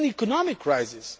It is an economic